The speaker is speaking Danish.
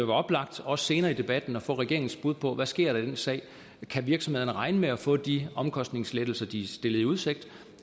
oplagt også senere i debatten at få regeringens bud på hvad der sker i den sag kan virksomhederne regne med at få de omkostningslettelser de er stillet i udsigt